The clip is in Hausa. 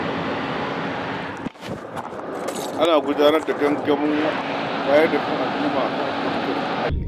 Ana gudanar da gangamin wayar da kan al'umma a kan tsaftar muhalli.